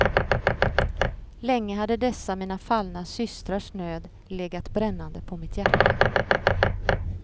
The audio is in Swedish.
Länge hade dessa mina fallna systrars nöd legat brännande på mitt hjärta.